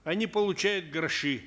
они получают гроши